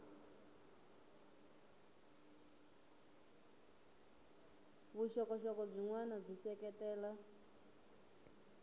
vuxokoxoko byin wana byi seketela